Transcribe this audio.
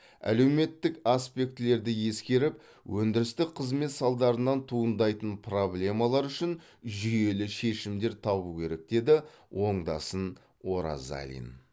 әлеуметтік аспектілерді ескеріп өндірістік қызмет салдарынан туындайтын проблемалар үшін жүйелі шешімдер табу керек деді оңдасын оразалин